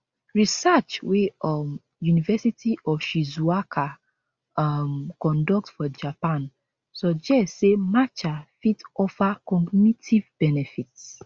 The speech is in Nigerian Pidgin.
research wey um university of shizuoka um conduct for japan suggest say matcha fit offer cognitive benefits